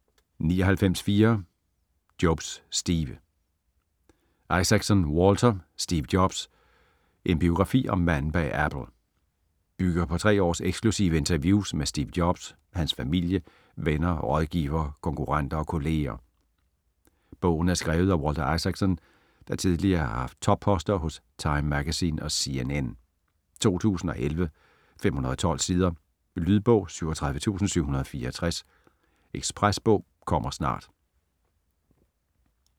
99.4 Jobs, Steve Isaacson, Walter: Steve Jobs: En biografi om manden bag Apple Bygger på tre års eksklusive interviews med Steve Jobs, hans familie, venner rådgivere, konkurrenter og kolleger. Bogen er skrevet af Walter Isaacson, der tidligere har haft topposter hos Time Magazine og CNN. 2011, 512 sider. Lydbog 37764 Ekspresbog - kommer snart